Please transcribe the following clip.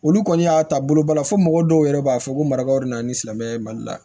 Olu kɔni y'a ta bolobali fɔ mɔgɔ dɔw yɛrɛ b'a fɔ ko marabagaw de nana ni silamɛya ye mali la